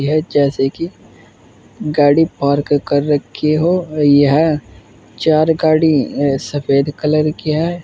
जैसे की गाड़ी पार्क कर रखी हो यह चार गाड़ी सफेद कलर की है।